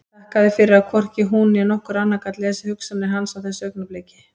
Þakkaði fyrir að hvorki hún né nokkur annar gat lesið hugsanir hans á þessu augnabliki.